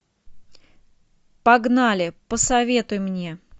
погнали посоветуй мне